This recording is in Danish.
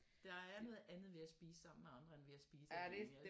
Der er noget andet ved at spise sammen med andre end ved at spise alene